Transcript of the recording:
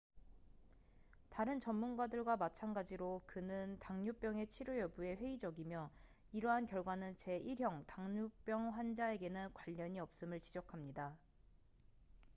다른 전문가들과 마찬가지로 그는 당뇨병의 치료 여부에 회의적이며 이러한 결과는 제1형 당뇨병 환자에게는 관련이 없음을 지적합니다